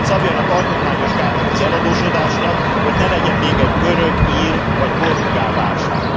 Szabjanak alkotmányos gátat az eladósodásnak, hogy ne legyen még egy görög, ír vagy portugál válság!